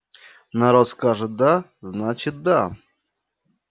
народ скажет да значит да